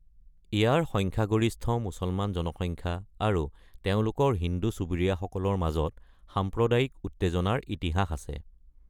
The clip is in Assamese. ইয়াৰ সংখ্যাগৰিষ্ঠ মুছলমান জনসংখ্যা আৰু তেওঁলোকৰ হিন্দু চুবুৰীয়াসকলৰ মাজত সাম্প্ৰদায়িক উত্তেজনাৰ ইতিহাস আছে।